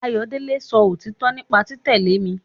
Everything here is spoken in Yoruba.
Ayọ̀délé sọ òtítọ nípa títẹ̀lé mi